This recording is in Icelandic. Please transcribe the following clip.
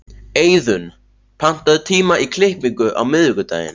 Eiðunn, pantaðu tíma í klippingu á miðvikudaginn.